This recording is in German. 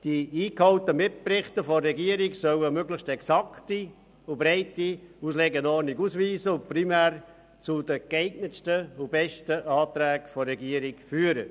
Die eingeholten Mitberichte der Regierung sollen möglichst eine exakte und breite Auslegeordnung abbilden und primär zu den besten und geeignetsten Anträgen der Regierung führen.